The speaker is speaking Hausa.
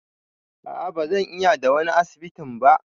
A'a ba zan iya da wani asibitin ba.